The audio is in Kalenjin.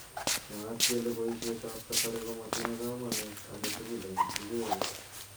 Mwaat kele boishet ab kasari komatinye kamanut agetugul eng ichget.